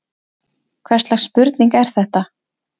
Hvers slags spurning er þetta!